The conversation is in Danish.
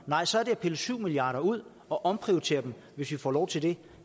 nej så er det at pille syv milliard kroner ud og omprioritere dem hvis vi får lov til det